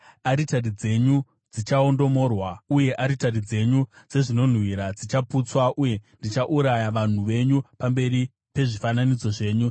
Aritari dzenyu dzichaondomorwa uye aritari dzenyu dzezvinonhuhwira dzichaputswa; uye ndichauraya vanhu venyu pamberi pezvifananidzo zvenyu.